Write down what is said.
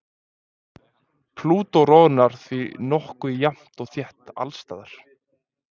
Plútó roðnar því nokkuð jafnt og þétt alls staðar.